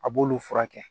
A b'olu furakɛ